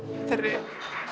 þeirri